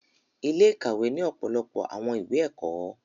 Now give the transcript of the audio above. Ile-ikawe ni ọpọlọpọ awọn iwe ẹkọ